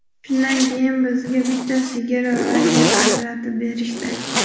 Shundan keyin bizga bitta sigir va yer ajratib berishdi.